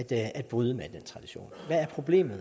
at bryde med hvad er problemet